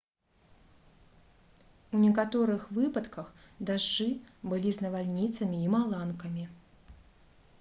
у некаторых выпадках дажджы былі з навальніцамі і маланкамі